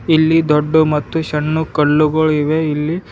ಇಲ್ಲಿ ದೊಡ್ಡ ಮತ್ತು ಸಣ್ಣ ಕಲ್ಲುಗಳಿವೆ ಇಲ್ಲಿ--